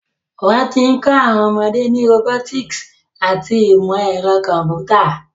Wọ́n ti ń kọ́ àwọn ọmọdé ní robotics àti ìmọ̀ ẹ̀rọ kọ̀m̀pútà.